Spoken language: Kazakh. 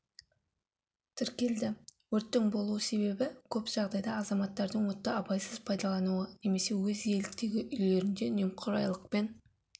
тіркелді өрттің болу себебі көп жағдайда азаматттардың отты абайсыз пайдалануы немесе өз иеліктегі үйлерінде немқұрайлылықпен